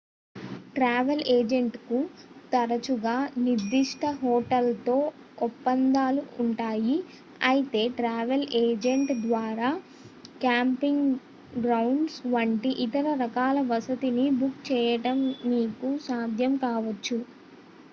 travel ఏజెంట్లకు తరచుగా నిర్ధిష్ట హోటళ్లతో ఒప్పందాలు ఉంటాయి అయితే ట్రావెల్ ఏజెంట్ ద్వారా క్యాంపింగ్ గ్రౌండ్స్ వంటి ఇతర రకాల వసతి ని బుక్ చేయడం మీకు సాధ్యం కావొచ్చు